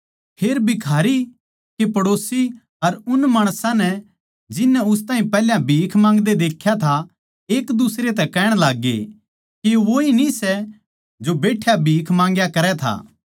फेर भिखारी के पड़ोसी अर उन माणसां नै पैहल्या उस ताहीं भीख माँगदे देख्या था एक दुसरे तै कहण लाग्गे के यो वोए न्ही सै जो बैठ्या भीख माँगया करै था